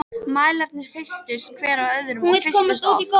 Mælarnir fylltust, hver af öðrum- og fylltust oft.